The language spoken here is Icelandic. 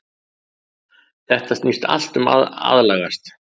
Þetta snýst allt um að aðlagast.